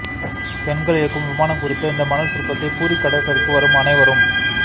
பெண்கள் இயக்கும் விமானம் குறித்த இந்த மணல் சிற்பத்தை பூரி கடற்கரைக்கு வரும் அனைவரும்